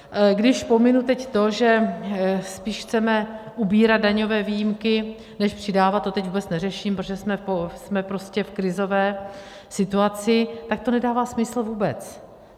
Když pominu teď to, že spíš chceme ubírat daňové výjimky než přidávat - to teď vůbec neřeším, protože jsme prostě v krizové situaci - tak to nedává smysl vůbec.